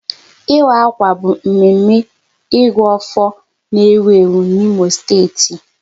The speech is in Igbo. Ịwa akwa bụ mme mme Ịgụ afọ n'ewu ewu n'Imo steeti